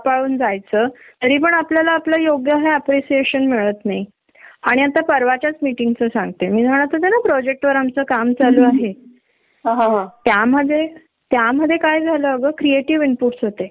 त्याच्या वयाच्या काही गरज असतात न इमोशनल गरज प्रतेकाच्या वेगवेगळ्या असतात लहान मुलांनच्या आणि आई च्या बाबतीत असेच पझेशीव्ह असतात ते की प्रत्येक गोष्ट आईला दाखवायची आणि आईशी शेअर करायची त्यांना फार गरज असते